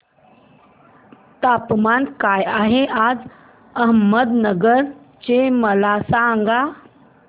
तापमान काय आहे आज अहमदनगर चे मला सांगा